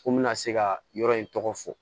Ko n bɛna se ka yɔrɔ in tɔgɔ fɔ